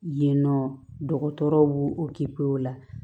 Yen yen nɔ dɔgɔtɔrɔw b'o o kepiyo la